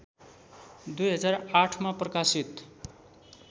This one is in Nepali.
२००८मा प्रकाशित